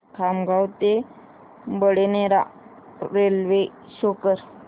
खामगाव ते Badnera railway show कर